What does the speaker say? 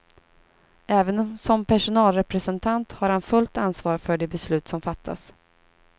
Även som personalrepresentant har han fullt ansvar för de beslut som fattas.